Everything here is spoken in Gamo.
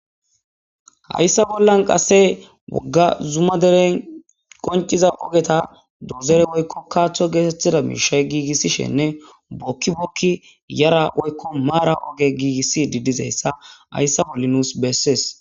hayssa bollan qasse wogga zuma deren qonciza ogeta doozere woykko kaaththo geetettida miishay giigissishenne bookki bokki yara woykko maara oge giigissidi dizayssa hayssa bolli nuus bessees.